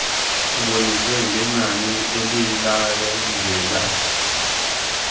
eboniswe ngenani elilandela